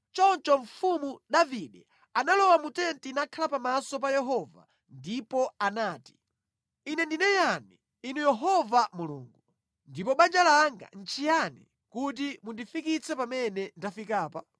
Choncho Mfumu Davide analowa mu tenti nakhala pamaso pa Yehova, ndipo anati, “Ine ndine yani, Inu Yehova Mulungu, ndipo banja langa nʼchiyani kuti mundifikitse pamene ndafikapa?